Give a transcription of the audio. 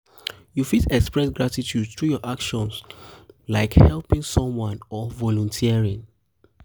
you fit express gratitude through your actions like helping someone or volunteering.